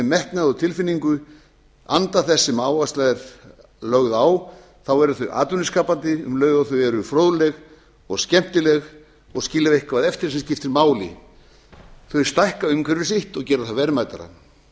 og tilfinningu anda þess sem áhersla er lögð á þá eru þau atvinnuskapandi um leið og þau eru fróðleg og skemmtileg og skilja eitthvað eftir sem skiptir máli þau stækka umhverfi sitt og gera það verðmætara